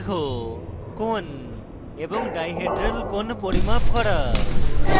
বন্ধনের দৈর্ঘ্য কোণ এবং ডাইহেড্রাল কোণ পরিমাপ করা